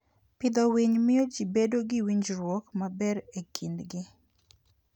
Pidho winy miyo ji bedo gi winjruok maber e kindgi.